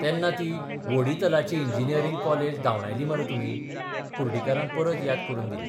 तेन्ना ती व्होडितलाची इंजिनियरिंग कॉलेज धावंडायल्ली मरे तुमी ', कुर्डीकारान परत याद करून दिली.